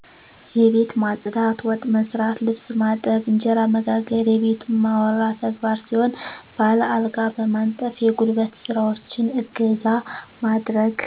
የቤት ማፅዳት፣ ወጥ መሥራት፣ ልብስ ማጠብ፣ እንጀራ መጋገር የቤቱ እማወራ ተግባር ሲሆን ባል አልጋ በማንጠፍ የጉልበት ስራዎችን እገዛ ማድረግ